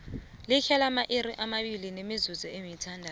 lidlale amairi amabili nemizuzu esithandathu